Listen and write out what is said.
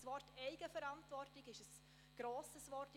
«Eigenverantwortung» ist ein grosses Wort.